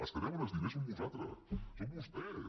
els que deuen els diners sou vosaltres són vostès